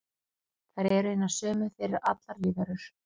Þær eru hinar sömu fyrir allar lífverur.